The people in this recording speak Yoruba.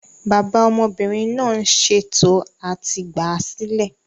Bàbá ọmọbìnrin náà ń ṣè tò à ti gbáa sílẹ̀